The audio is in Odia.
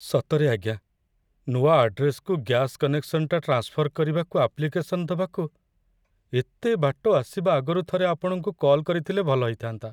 ସତରେ, ଆଜ୍ଞା, ନୂଆ ଆଡ୍ରେସ୍‌କୁ ଗ୍ୟାସ୍ କନେକ୍ସନଟା ଟ୍ରାନ୍ସଫର କରିବାକୁ ଆପ୍ଲିକେସନ ଦବାକୁ ଏତେ ବାଟ ଆସିବା ଆଗରୁ ଥରେ ଆପଣଙ୍କୁ କଲ୍ କରିଥିଲେ ଭଲ ହେଇଥା'ନ୍ତା ।